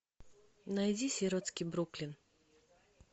найди сиротский бруклин